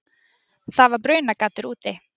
Það var brunagaddur úti.